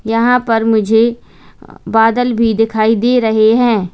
यहां पर मुझे बादल भी दिखाई दे रहे हैं।